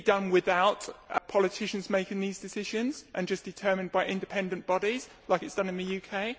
Should it not be done without politicians making these decisions and just determined by independent bodies, as is done in the UK?